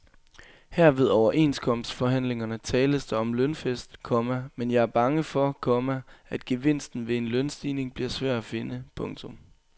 Her ved overenskomstforhandlingerne tales der om lønfest, komma men jeg er bange for, komma at gevinsten ved en lønstigning bliver svær at finde. punktum